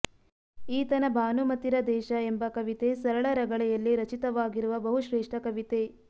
ಈತನ ಭಾನುಮತಿರ ದೇಶ ಎಂಬ ಕವಿತೆ ಸರಳ ರಗಳೆಯಲ್ಲಿ ರಚಿತವಾಗಿರುವ ಬಹುಶ್ರೇಷ್ಠ ಕವಿತೆ